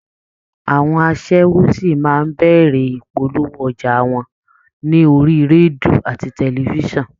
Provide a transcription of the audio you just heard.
Àwọn aṣẹ́wó ṣì máa bẹ̀rẹ̀ ìpolówó ọjà wọn ní orí rédíò àti tẹlifíṣàn